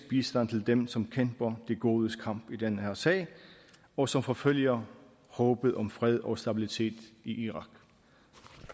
bistand til dem som kæmper de godes kamp i den her sag og som forfølger håbet om fred og stabilitet i irak